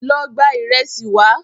Lọ gba ìrẹsì wá